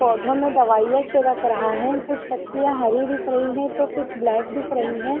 पौधों में दवाईयां छिड़क रहा है कुछ पत्तियां हरी दिख रही है तो कुछ ब्लैक दिख रही है।